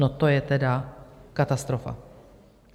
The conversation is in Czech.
No to je tedy katastrofa!